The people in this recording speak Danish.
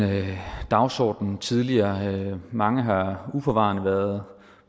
dagsorden tidligere mange har uforvarende været